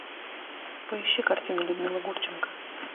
поищи картину людмила гурченко